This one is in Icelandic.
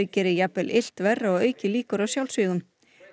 geri jafnvel illt verra og auki líkur á sjálfsvígum